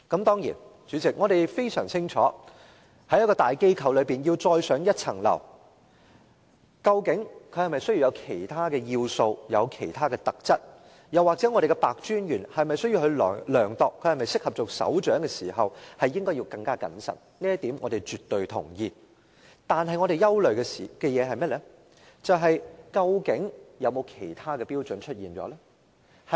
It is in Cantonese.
當然，代理主席，我們非常清楚在大機構中要再上一層樓，究竟是否需要其他要素和其他特質，又或白專員在衡量她是否適合擔任首長時應該更謹慎，這點我們絕對同意，但我們憂慮的是，究竟有否其他標準出現呢？